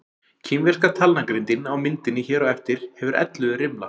Kínverska talnagrindin á myndinni hér á eftir hefur ellefu rimla.